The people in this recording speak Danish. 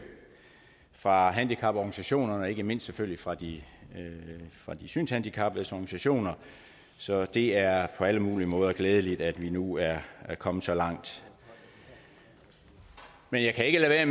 fra handicaporganisationerne og ikke mindst selvfølgelig fra de synshandicappedes organisationer så det er på alle mulige måder glædeligt at vi nu er kommet så langt men jeg kan ikke lade